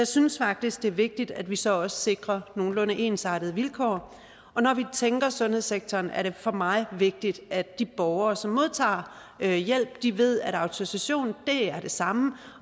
synes faktisk det er vigtigt at vi så også sikrer nogenlunde ensartede vilkår når vi tænker sundhedssektor er det for mig vigtigt at de borgere som modtager hjælp ved at autorisation er det samme